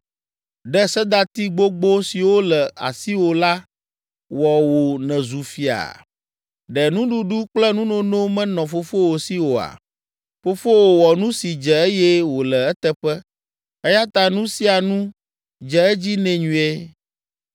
“Ɖe sedati gbogbo siwo le asiwò la wɔ wò nèzu fia? Ɖe nuɖuɖu kple nunono menɔ fofowò si oa? Fofowò wɔ nu si dze eye wòle eteƒe eya ta nu sia nu dze edzi nɛ nyuie.